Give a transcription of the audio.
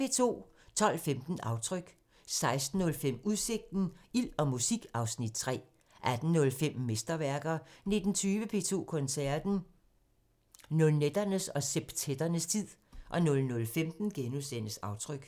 12:15: Aftryk 16:05: Udsigten – Ild og musik (Afs. 3) 18:05: Mesterværker 19:20: P2 Koncerten – Nonetternes og septetternes tid 00:15: Aftryk *